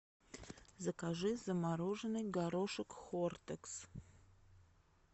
закажи замороженный горошек хортекс